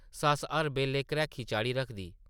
सस्स हर बेल्लै घ्रैखी चाढ़ी रखदी ।